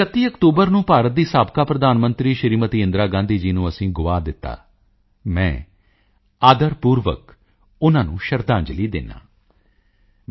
31 ਅਕਤੂਬਰ ਨੂੰ ਭਾਰਤ ਦੀ ਸਾਬਕਾ ਪ੍ਰਧਾਨ ਮੰਤਰੀ ਸ਼੍ਰੀਮਤੀ ਇੰਦਰਾ ਗਾਂਧੀ ਜੀ ਨੂੰ ਅਸੀਂ ਗੁਆ ਦਿੱਤਾ ਮੈਂ ਆਦਰਪੂਰਵਕ ਉਨ੍ਹਾਂ ਨੂੰ ਸ਼ਰਧਾਂਜਲੀ ਦਿੰਦਾ ਹਾਂ